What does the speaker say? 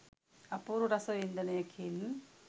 අපූරු රස වින්දනයකින්